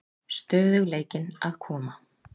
Stöðugleikinn að koma?